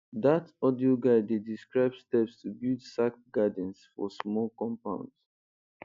dat audio guide dey describe steps to build sack gardens for small compounds